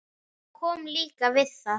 Ég kom líka við það.